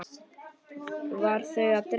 Var þau að dreyma?